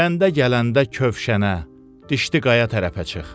Kəndə gələndə kövşənə, dişli qaya tərəfə çıx.